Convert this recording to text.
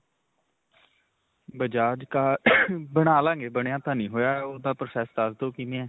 bajaj ਬਣਾ ਲਵਾਂਗੇ. ਬਣਿਆਂ ਤਾਂ ਨਹੀਂ ਹੋਇਆ. ਉਹਦਾ process ਦਸ ਦਵੋ ਕਿਵੇਂ ਹੈ.